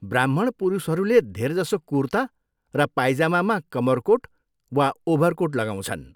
ब्राह्मण पुरुषहरूले धेरजसो कुर्ता र पाइजामामा कमरकोट वा ओभरकोट लगाउँछन्।